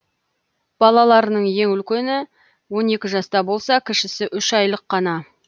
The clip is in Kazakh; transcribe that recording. балаларының ең үлкені он екі жаста болса кішісі үш айлық қана